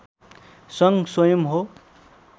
सङ्घ स्वयम् हो